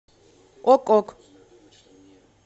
ок ок